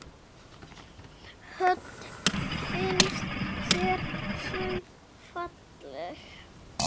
Hödd: Finnst þér þau falleg?